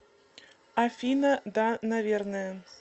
афина да наверное